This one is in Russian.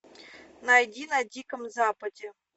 найди на диком западе